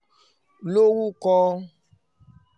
lórúkọ